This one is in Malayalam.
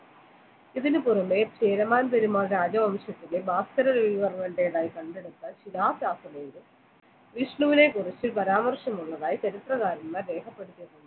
ഇതിനുപുറമേ ചേരമാൻ പെരുമാൾ രാജവംശത്തിന്റെ വിഷ്ണുവിനെ കുറിച്ച് പരാമർശം ഉള്ളതായി ചരിത്രകാരന്മാർ രേഖപ്പെടുത്തുന്നു